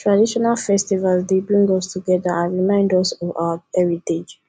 traditional festivals dey bring us together and remind us of our heritage